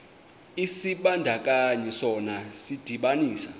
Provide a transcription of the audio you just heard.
isibandakanyi sona sidibanisa